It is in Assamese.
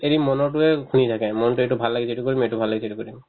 এৰি মনৰতোয়ে ঘূৰি যায় থাকে মনতোয়ে এইটো ভাল লাগিছে এইটো কৰিব এইটো ভাল লাগিছে এইটো কৰিব